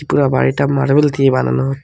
পুরা বাড়িটা মার্বেল দিয়ে বানানো।